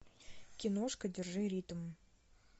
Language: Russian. киношка держи ритм